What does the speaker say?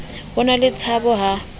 ho na le tshabo ha